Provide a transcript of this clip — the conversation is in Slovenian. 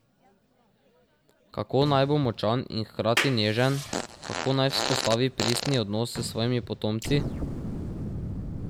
Kako naj bo močan in hkrati nežen, kako naj vzpostavi pristni odnos s svojimi potomci?